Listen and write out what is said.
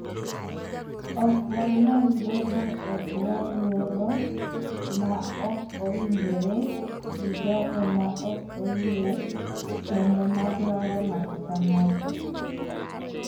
ok wanyal bedo e bwo luoro ma ok owinjore gi jogo ma ok oyie kendo ma dwaro ng�ato ka ng�ato,